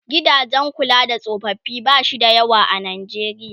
gidajen kula da tsofaffi bashi da yawa a Najeriya